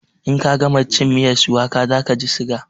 In ka gama cin miyar shuwaka za kaji siga